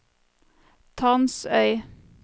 Tansøy